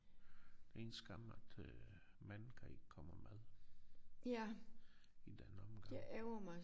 Det er en skam at øh manden kan ikke komme med i den omgang